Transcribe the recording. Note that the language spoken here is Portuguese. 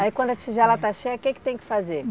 Aí quando a tigela está cheia, o que que tem que fazer?